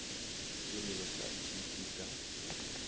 semelo sa t t ka